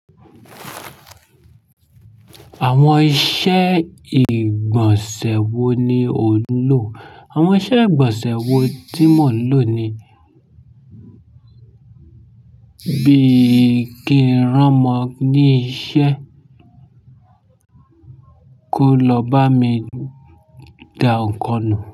Àwọn iṣẹ́ ìgbọ̀nsẹ̀ wo ni ò ń lò? Àwọn iṣẹ́ ìgbọ̀nsẹ̀ wo tí mò ń lò ni. Bí i kí ń ran ma ní iṣẹ́, kó lọ bá mi da nkan nù.